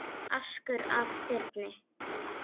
askur af þyrni